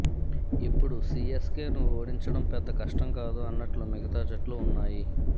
ఇప్పుడు సీఎస్కేను ఓడించడం పెద్ద కష్టం కాదు అన్నట్లు మిగతా జట్లు ఉన్నాయి